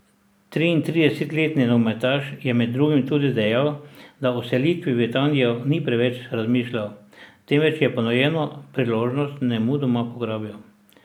Triintridesetletni nogometaš je med drugim tudi dejal, da o selitvi v Italijo ni preveč razmišljal, temveč je ponujeno priložnost nemudoma pograbil.